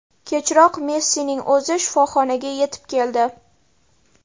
Kechroq Messining o‘zi shifoxonaga yetib keldi.